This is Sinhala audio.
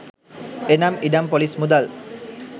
එනම් ඉඩම් ‍පොලිස් මුදල්